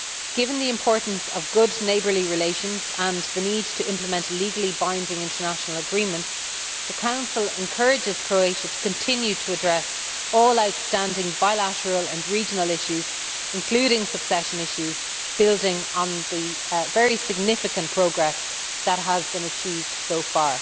Given the importance of good neighbourly relations and the need to implement legally binding international agreements, the Council encourages Croatia to continue to address all outstanding bilateral and regional issues, including succession issues, building on the very significant progress that has been achieved so far.